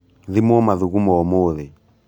Thimwo mathugumo ūmūthī.